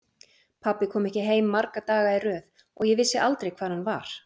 Pabbi kom ekki heim marga daga í röð og ég vissi aldrei hvar hann var.